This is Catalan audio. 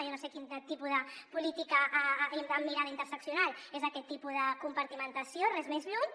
jo no sé quin tipus de política amb mirada interseccional és aquest tipus de compartimentació res més lluny